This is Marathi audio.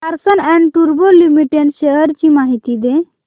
लार्सन अँड टुर्बो लिमिटेड शेअर्स ची माहिती दे